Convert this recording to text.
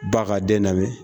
Ba ka den lamɛn